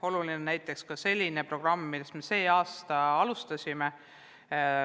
Oluline on näiteks selline programm, mida me sel aastal alustasime.